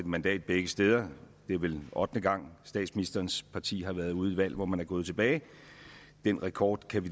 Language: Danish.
mandat begge steder det er vel ottende gang statsministerens parti har været ude i et valg hvor man er gået tilbage og den rekord kan